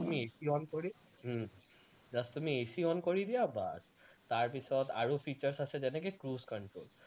তুমি AC কৰি um just তুমি AC কৰি দিয়া বস, তাৰপিছত আৰু features আছে যেনেকে cruise control